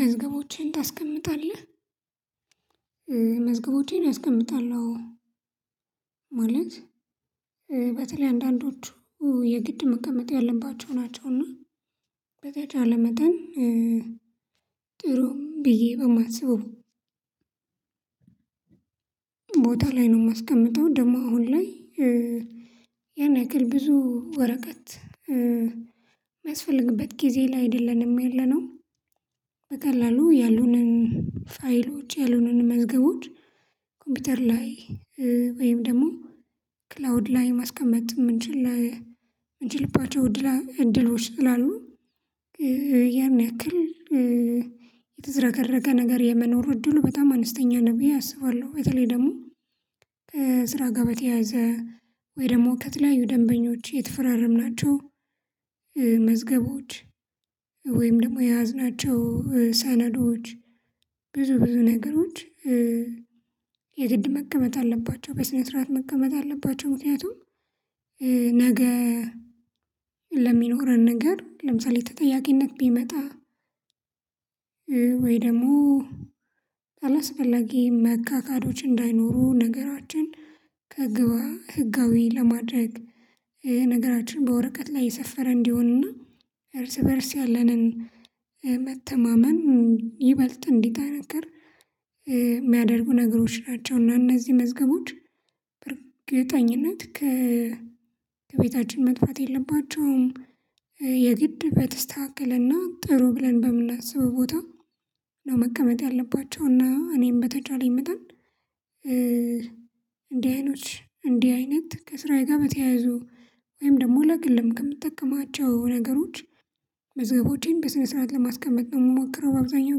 መዝገቦችህን ታስቀምጣለህ? መዝገቦቼን አስቀምጣለሁ። ማለት በተለይ አንዳንዶቹ የግድ መቀመጥ ያለባቸው ናቸውና በተቻለ መጠን ጥሩም ብዬ በማስበው። ቦታ ላይ ነው የማስቀምጠው ደግሞ አሁን ላይ ብዙ ወረቀት። የሚያስፈልግበት ጊዜ ላይ አይደለንም ያለነው ያሉንን ፋይሎች ያሉንን መዝገቦች ኮምፒውተር ላይ ወይም ደግሞ ክላውድ ላይ ማስቀመጥ እንችል ምንችልባቸው እድሎች ስላሉ ያን ያክል የተዝረከረከ ነገር የመኖር እድሉ በጣም አነስተኛ ነው ብዬ አስባለሁ። በተለይ ደግሞ ከስራ ጋር በተያያዘ ወይ ደግሞ ከትላዩ ደንበኞች የተፈራረምናቸው መዝገቦች ወይም ደግሞ የያዝናቸው ሰነዶች ብዙ ብዙ ነገሮች። የግድ መቀመጥ አለባቸው በስነ ስርዓት መቀመጥ አለባቸው። ምክንያቱም ነገ ለሚኖረን ነገር ለምሳሌ ተጠያቂነት ቢመጣ። ወይም ደግሞ አላስፈላጊ መከካዶች እንዳይኖሩ ነገራችን ህጋዊ ለማድረግ ይሄ ነገራችን በወረቀት ላይ የሰፈረ እንዲሆንና እርስ በእርስ ያለንን መተማመን ይበልጥ እንዲጠነክር የሚያደርጉ ነገሮች ናቸው። እና እነዚህ መዝገቦች በእርግጠኝነት ከቤታችን መጥፋት የለባቸውም። በተስተካከለና ጥሩ ብለን በምናስበው ቦታ ነው መቀመጥ ያለባቸውና እኔም በተቻለኝ መጠን። እንዲህ አይነት ከስራዬ ጋር በተያያዙ ወይም ደግሞ ለግልም ከምትጠቀማቸው ነገሮች መዘጋቦቼን በስነ ስርዓት ለማስቀመጥ ነው የምሞክረው። በአብዛኛው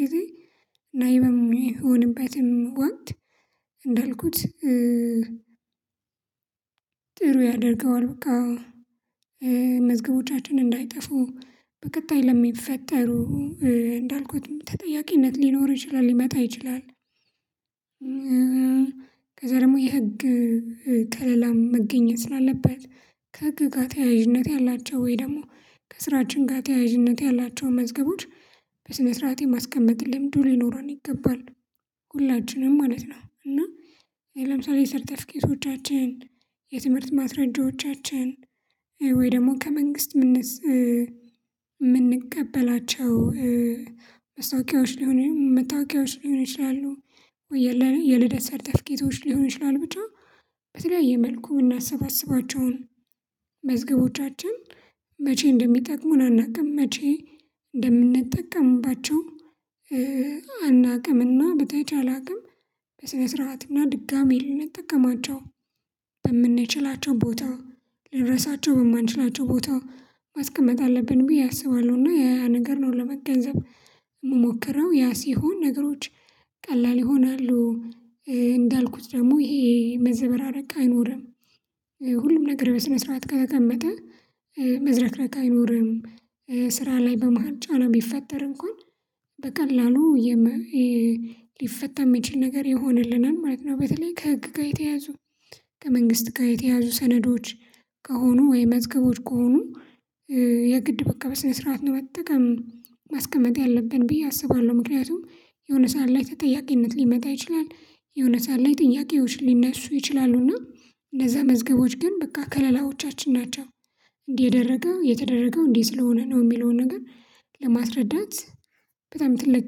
ጊዜ እና ይሄ በሚሆንበትም ወቅት እንዳልኩት ጥሩ ያደርገዋል በቃ። መዝገቦቻችን እንዳይጠፉ በቀጣይ ለሚፈጠሩ እንዳልኩትም ተጠያቂነት ሊኖር ይችላል ሊመጣ ይችላል። ከዚያ ደግሞ የህግ ከለላም መገኘት ስላለበት ከህግ ጋር ተያያዥነት ያላቸው ወይም ደግሞ ከስራችን ጋር ተያያዥነት ያላቸውን መዝገቦች በስነ ስርዓት የማስቀመጥ ልምዱ ሊኖረን ይገባል። ሁላችንም ማለት ነው እና ለምሳሌ ሰርተፍኬቶቻችን የትምህርት ማስረጃዎቻችን ወይም ደግሞ ከመንግስት ምንቀበላቸው መታወቂያዎች ሊሆን ይችላሉ የልደት ሰርተፍኬቶች ሊሆኑ ይችላሉ ብቻ በተለያየ መልኩ ምናሰባስባቸውን መዝገቦቻችን መቼ እንደሚጠቅሙን አናውቅም መቼ እንደምንጠቀምባቸው። እና በተቻለ አቅም በስነ ስርዓትና ድጋሚ ልንጠቀማቸው በምንችላቸው ቦታ ልንረሳቸው በማንችላቸው ቦታ ማስቀመጥ አለብን ብዬ አስባለሁ። እና ያ ያ ነገር ነው ለመገንዘብ ምሞክረው ያ ሲሆን ነገሮች ቀላል ይሆናሉ። እንዳልኩት ደግሞ ይሄ መዘበራረቅ አይኖርም። ሁሉም ነገር በስነ ስርዓት ከተቀመጠ መዝረክረክ አይኖርም። ስራ ላይ በመሃል ጫና ቢፈጠር እንኳን በቀላሉ ሊፈታ የሚችል ነገር ይሆንልናል ማለት ነው። በተለይ ከህግ ጋር የተያዙ ከመንግስት ጋር የተያዙ ሰነዶች ከሆኑ ወይም መዝገቦች ከሆኑ የግድ በቃ በስነስርዓት ነው መጠቀም ማስቀመጥ ያለብን ብዬ አስባለሁ። ምክንያቱም የሆነ ሰዓት ላይ ተጠያቂነት ሊመጣ ይችላል የሆነ ሰዓት ላይ ጥያቄዎች ሊነሱ ይችላሉና እነዚያ መዝገቦች ግን በቃ ከለላዎቻችን ናቸው። እንዲህ የተደረገው እንዲህ ስለሆነ ነው። የሚለውን ነገር ለማስረዳት በጣም ትልቅ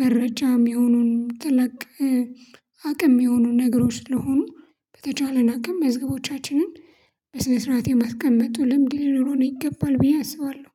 መረጃ ሚሆኑን ትልቅ አቅም ሚሆኑ ነገሮች ስለሆኑ። በተቻለን አቅም መዝገቦቻችንን በስነ ስርዓት የማስቀምጥ ልምድ ሊኖረው ይገባል ብዬ አስባለሁ።